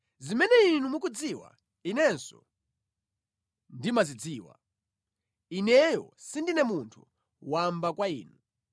Zimene inu mukudziwa, inenso ndimazidziwa; ineyo sindine munthu wamba kwa inu.